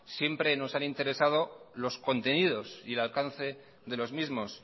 siempre nos han interesado los contenidos y el alcance de los mismos